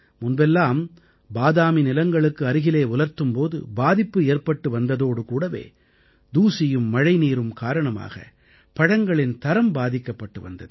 முன்பெல்லாம் பாதாமி நிலங்களுக்கு அருகிலே உலர்த்தும் போது பாதிப்பு ஏற்பட்டு வந்ததோடு கூடவே தூசியும் மழைநீரும் காரணமாக பழங்களின் தரம் பாதிக்கப்பட்டு வந்தது